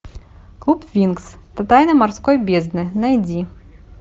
клуб винкс тайны морской бездны найди